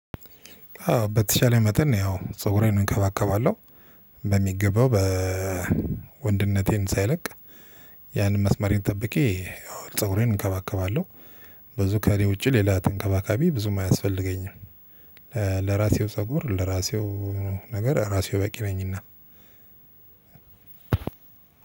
አዎ በተሻለ መጠን ነው ያው ፀጉሬን እከባከባለሁ በሚገባው በወንድነቴን ሳይለቅ ያንን መስመርን ጠብቄ ፀጉሬን እከባከባለሁ። ብዙ ከሌ ውጪ ሌላ ተንከባካቢ ብዙም አያስፈልገኝም። ለራሴው ፀጉር ለራሴው ነገር ራሴው በቂ ነኝና።